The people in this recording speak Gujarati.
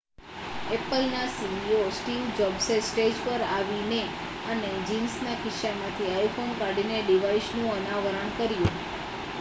એપલના સીઈઓ સ્ટીવ જોબ્સે સ્ટેજ પર આવીને અને જીન્સના ખિસ્સામાંથી iphone કાઢીને ડિવાઇસનું અનાવરણ કર્યું